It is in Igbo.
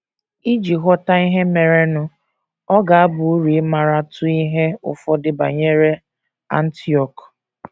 Iji ghọta ihe merenụ, ọ ga - aba uru ịmaratụ ihe ụfọdụ banyere Antiọk.